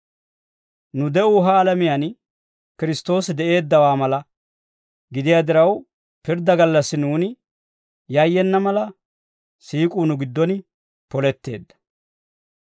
Nu de'uu ha alamiyaan Kiristtoosi de'eeddawaa mala gidiyaa diraw, pirddaa gallassi nuuni yayyena mala, siik'uu nu giddon poletteedda.